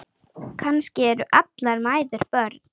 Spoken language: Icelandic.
Kannski eru allar mæður börn.